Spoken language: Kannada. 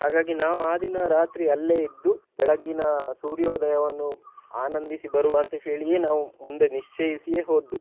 ಹಾಗಾಗಿ ನಾವು ಆ ದಿನ ರಾತ್ರಿ ಅಲ್ಲೇ ಇದ್ದು ಬೆಳಗ್ಗಿನ ಸೂರ್ಯೋದಯವನ್ನು ಆನಂದಿಸಿ ಬರುವ ಅಂತ ಹೇಳಿಯೇ ನಾವು ಮುಂದೆ ನಿಶ್ಚಯಿಸಿಯೇ ಹೋದ್ದು.